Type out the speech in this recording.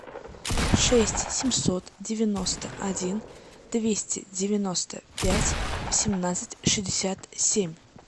шесть семьсот девяносто один двести девяносто пять семнадцать шестьдесят семь